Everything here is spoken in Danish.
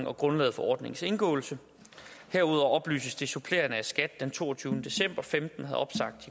og grundlaget for ordningens indgåelse herudover oplyses det supplerende at skat den to tusind og femten havde opsagt